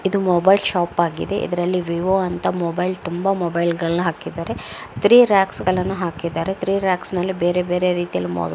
ಇದು mobile shop ಆಗಿದೆ. ಇದರಲ್ಲಿ ವಿವೋ ಅಂತ ಮೊಬೈಲ್ ತುಂಬಾ ಮೊಬೈಲ್ ಗಳನ್ನು ಹಾಕಿದ್ದಾರೆ. ಥ್ರೀ ರಾಕ್ಸ್ ಗಳನ್ನು ಹಾಕಿದ್ದಾರೆ ಥ್ರೀ ರಾಕ್ಸ್ ನಲ್ಲಿ ಬೇರೆ ಬೇರೆ ರೀತಿಯಲ್ಲಿ ಮೋಲ್ --